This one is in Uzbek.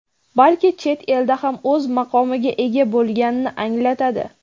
balki chet elda ham o‘z maqomiga ega bo‘lganini anglatadi.